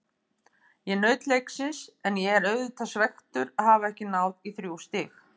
Ég naut leiksins en ég er auðvitað svekktur að hafa ekki náð í þrjú stig.